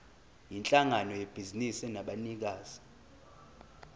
yinhlangano yebhizinisi enabanikazi